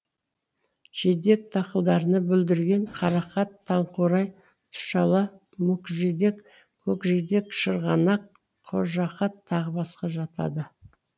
жидек дақылдарына бүлдірген қарақат таңқурай тұшала мүкжидек көкжидек шырғанақ қожақат тағы басқа жатады